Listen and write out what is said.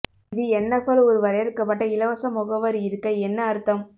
இது என்எப்எல் ஒரு வரையறுக்கப்பட்ட இலவச முகவர் இருக்க என்ன அர்த்தம்